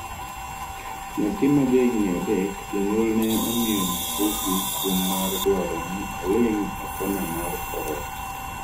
nyathi ma ja higni adek ,jonyuol ne omiyo nyathigi kum mar dwaro ni oling' e kona mar korot